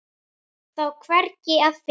Þá er hvergi að finna.